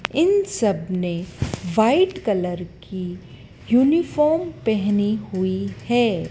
इन सब ने white colour की यूनिफॉर्म पहनी हुई हैं।